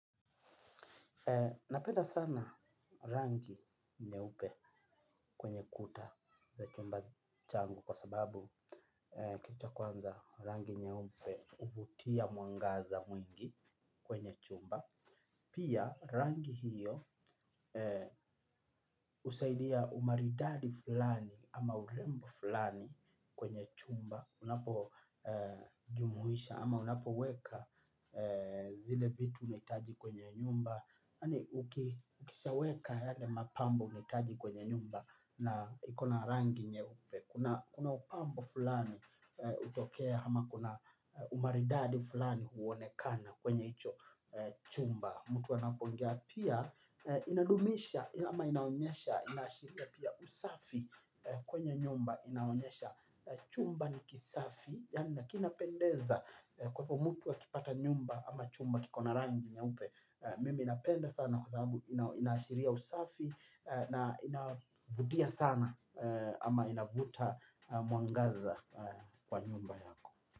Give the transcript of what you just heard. Napenda sana rangi nyeupe kwenye kuta za chumba changu kwa sababu cha kwanza rangi nyeupe huvutia mwangaza mwingi kwenye chumba. Pia rangi hiyo husaidia umaridadi fulani ama urembo fulani kwenye chumba. Unapo jumlisha ama unapoweka zile vitu unahitaji kwenye nyumba yaani ukishaweka yale mapambo unahitaji kwenye nyumba na ikona rangi nyeupe kuna upambo fulani hutokea ama kuna umaridadi fulani huonekana kwenye hicho chumba mtu anapoingia pia inadumisha ama inaonyesha inaashiria pia usafi kwenye nyumba inaonyesha chumba ni kisafi na kinapendeza kwa hivyo mtu akipata nyumba ama chumba kiko na rangi nyeupe mimi napenda sana kwa sababu inaashiria usafi na inavutia sana ama inavuta mwangaza kwa nyumba yako.